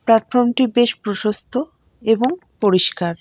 প্লাটফর্মটি বেশ প্রশস্ত এবং পরিষ্কার।